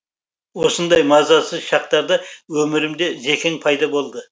осындай мазасыз шақтарда өмірімде зекең пайда болды